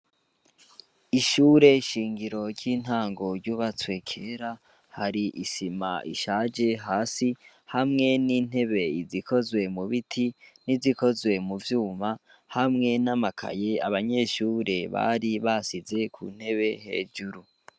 Ishure shingiro ry'intango yubatswe kera hari isima ishaje hasi hamwe n'intebe izikozwe mu biti n'izikozwe mu vyuma hamwe n'amakaye abanyeshure bari basize ku ntebe hejuru.